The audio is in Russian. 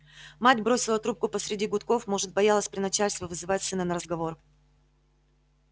мать бросила трубку посреди гудков может боялась при начальстве вызывать сына на разговор